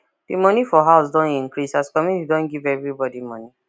the money for house don increase as community don give everybody money